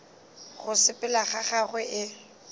go sepela ga gagwe e